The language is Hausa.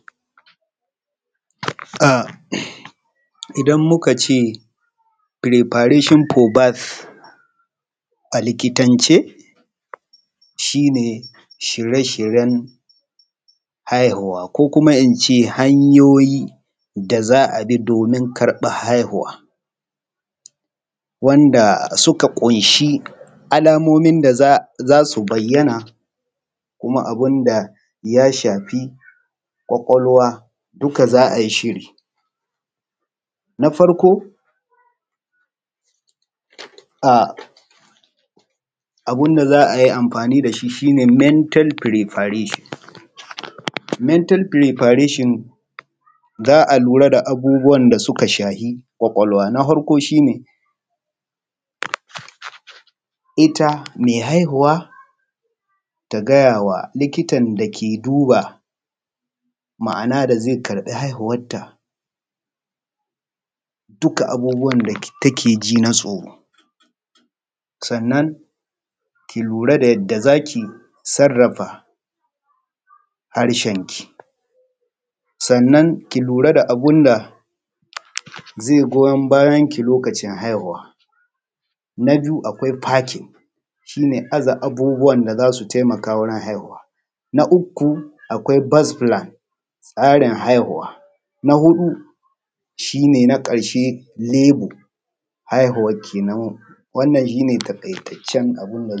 A idan muka ce firabeshon fo bad a likitance shi ne shirye-shiryen haihuwa ko kuma in ce hanyoyi da za a bi domin karɓan haihuwa wanda suka ƙunshi alamomin da za su bayyana kuma abun da ya shafi kwakwalwa duka za’ayi shiri. Na farko a abnda za a yi amfani da shi shi ne mental firifarashon mental firifarashon za a lura da abubuwan da suka shafi kwakwalwa. Na farko shi ne ita me haihuuwa ta gaya wa likitan da ze duba ma’ana da ze karba haihuwanta duka abubuwan da take ji na tsoro, sannan ki lura da yanda za ki sarrafa harshen ki, sannan ki lura da abun da ze goyan bayanki bayan haihuwa. Na biyu akwai bakin a je abubuwan da za su taimaka bayan haihuwa, na uku akwai bazbila tsarin haihuwa na huɗu shi ne na ƙarshe shi ne lebo haihuwan kenan wannan shi ne takaitaccen.